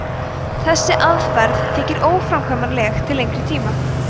þessi aðferð þykir óframkvæmanleg til lengri tíma